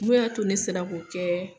Mun y'a to ne sera k'o kɛɛ